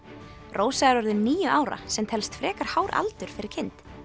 rósa er orðin níu ára sem telst frekar hár aldur fyrir kind